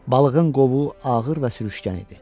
Balığın qovuğu ağır və sürüşkən idi.